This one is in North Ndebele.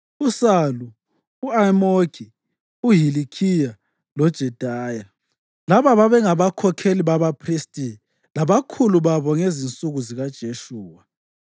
uSalu, u-Amoki, uHilikhiya loJedaya. Laba babengabakhokheli babaphristi labakhulu babo ngezinsuku zikaJeshuwa.